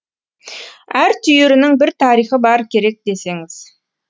әр түйірінің бір тарихы бар керек десеңіз